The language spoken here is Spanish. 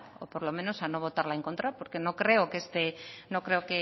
o por lo menos a no votarla en contra porque no creo